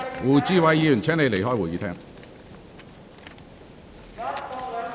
胡志偉議員，請你離開會議廳。